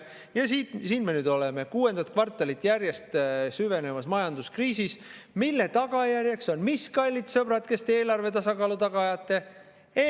Ja siin me nüüd oleme: kuuendat kvartalit järjest süvenevas majanduskriisis, mille tagajärjeks on mis, kallid sõbrad, kes te eelarve tasakaalu taga ajate?